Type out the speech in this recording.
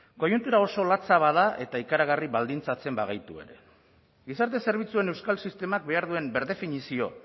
koiuntura oso latza bada eta ikaragarri baldintzatzen bagaitu ere gizarte zerbitzuen euskal sistemak behar duen birdefinizio